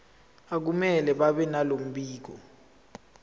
akumele babenalo mbiko